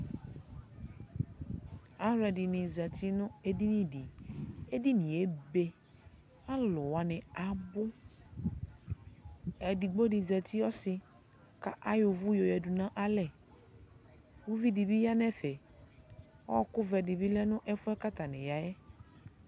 Aluɛdini zati nu edini di edinie ebe ku aluwani abu edigbo di zati ɔsi kayɔ uvú yadunalɛ ku uvidi yanu ɛfɛ ɔku vɛ dibi lɛ nu ɛfuɛ atani yayɛ